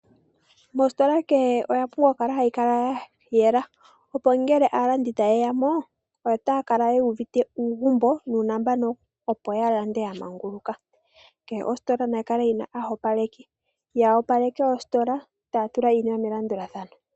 Mositola kehe omwa pumbwa oku kala mwa yela. Opo ngele aalandi ta ye ya mo otaya kala yuuvite uugumbo opo ya lande ya manguluka. Kehe ositola nayikale yina omoopaleki ta opaleke ye ta tula iinima melandulathano.